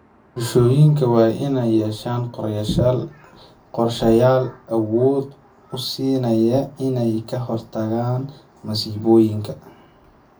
Bulshooyinka waa inay yeeshaan qorshayaal awood u siinaya inay ka hortagaan masiibooyinka.